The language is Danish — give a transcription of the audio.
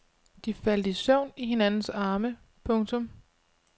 De faldt i søvn i hinandens arme. punktum